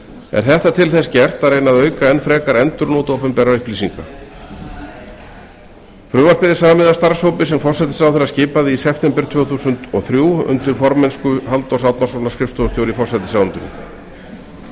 er þetta til þess gert að reyna að auka enn frekar endurnot opinberra upplýsinga frumvarpið er samið af starfshópi sem forsætisráðherra skipaði í september tvö þúsund og þrjú undir formennsku halldórs árnasonar skrifstofustjóra